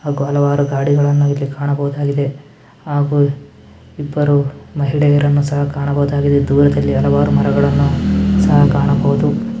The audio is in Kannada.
ಹಾಗು ಹಲವಾರು ಗಾಡಿಗಳನ್ನ ಇಲ್ಲಿ ಕಾಣಬಹುದಾಗಿದೆ ಹಾಗು ಇಬ್ಬರು ಮಹಿಳೆಯರನ್ನು ಸಹ ಕಾಣಬಹುದಾಗಿದೆ ದೂರದಲ್ಲಿ ಹಲವಾರು ಮರಗಳನ್ನು ಸಹ ಕಾಣಬಹುದು.